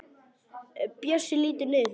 Bjössi lítur niður fyrir sig.